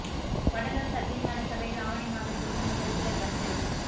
வடலூா் சத்திய ஞான சபையில் ஆவணி மாத பூசம் நிகழ்ச்சிகள் ரத்து